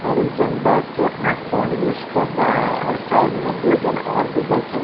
और एक जन बैठ के अपना फ़ोन यूज़ कर रहा है और साइड में दो जन और भी बेठे हुए --